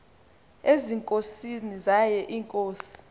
ezinkosini zaye iinkosi